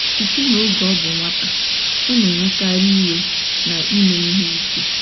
Site n'oge ọ bụ nwata, ọ na-ewekarị iwe na ime ihe ike.